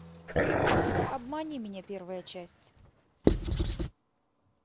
обмани меня первая часть